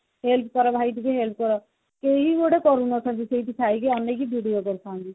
help କର ଭାଇ ଟିକେ help କର କେହି ଗୋଟେ କରୁନଥାନ୍ତି ସେଇକି ଥାଇକି ଅନେଇକି video କରୁଛନ୍ତି